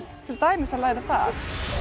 til dæmis að læra það